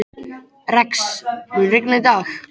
Rex, mun rigna í dag?